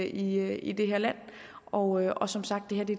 i i det her land og og som sagt er det